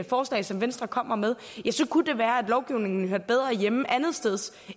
forslag som venstre kommer med kunne det være at lovgivningen hørte bedre hjemme andetsteds